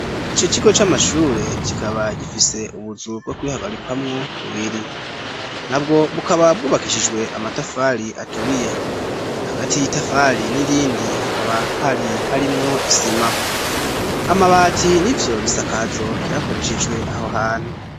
Ico kigo c'amashure kikaba gifise ubuzu bwo kwihagarikwamwo bubiri nabwo bukaba bwubakishijwe amatafari aturiye hagati y'itafari n'irindi hakaba hari harimwo isima amabati n'ivyo bisakazo vyakoreshejwe aho hantu.